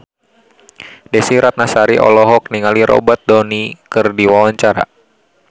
Desy Ratnasari olohok ningali Robert Downey keur diwawancara